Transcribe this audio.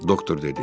Doktor dedi: